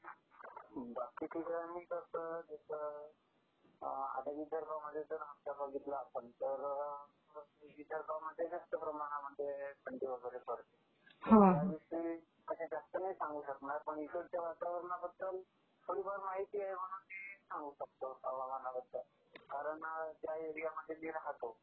बाकी ठिकाणी जसं, आता विदर्भामध्ये जर का बघितलं आपण तर विदर्भामध्ये जास्त प्रमाणामध्ये थंडी वगैरे पडते. बाकी ठिकाणी जसं, आता विदर्भामध्ये जर का बघितलं आपण तर विदर्भामध्ये जास्त प्रमाणामध्ये थंडी वगैरे पडते. मी असं जास्त नाही सांगू शकणार पण इकडच्या वातावरणाबद्दल थोडीफार माहिती आहे म्हणून मी सांगू शकतो हवामानाबद्दल कारण ज्या एरियामध्ये मी राहतो.